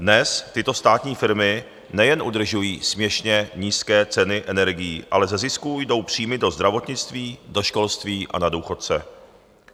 Dnes tyto státní firmy nejen udržují směšně nízké ceny energií, ale ze zisků jdou příjmy do zdravotnictví, do školství a na důchodce.